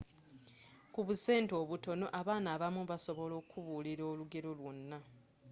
ku busente obutono abaana abamu basobola okubuulir aolugero lwonna